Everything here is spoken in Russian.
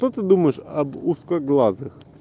что ты думаешь об узкоглазых